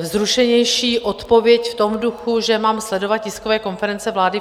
vzrušenější odpověď v tom duchu, že mám sledovat tiskové konference vlády.